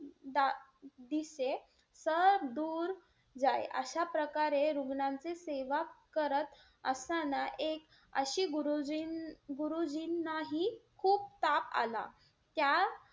दा ~ दिसे सदूर अशा प्रकारे रुग्णांचे सेवा करत असताना एक अशी गुरुजीं~ गुरुजींनाही खूप ताप आला. त्या,